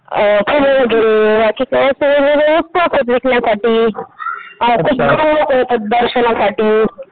भेटण्यासाठी माणसं बाहेरून लोकं येतात दर्शनासाठी